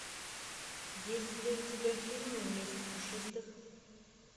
есть ли у тебя фильм месть пушистых